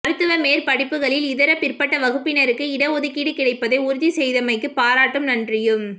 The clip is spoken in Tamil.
மருத்துவ மேற்படிப்புகளில் இதர பிற்பட்ட வகுப்பினருக்கு இடஒதுக்கீடு கிடைப்பதை உறுதி செய்தமைக்குப் பாராட்டும் நன்றியும்